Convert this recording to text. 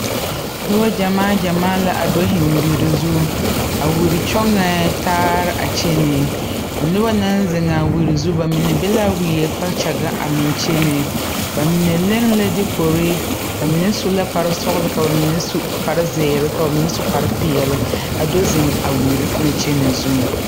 Nobɔ gyamaa gyamaa la do zeŋ wiri zu a wiri kyɔŋɛɛ taare a kyɛnɛ a nobɔ naŋ zeŋaa wiri zu ba mine be wie kpakyagaŋ meŋ kyene mine leŋ la dekore ba mine su la kpare sɔglɔ ka ba mine su kpare zeere ka ba mine su kpare peɛle a do zeŋ a wiri na kyɛnɛ zuŋ.